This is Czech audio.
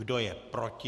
Kdo je proti?